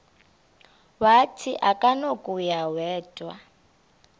wathi akunakuya wedw